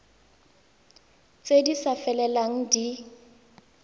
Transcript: tse di sa felelang di